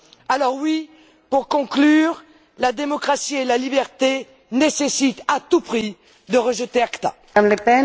Alors oui, pour conclure, la démocratie et la liberté nécessitent à tout prix de rejeter l'ACTA.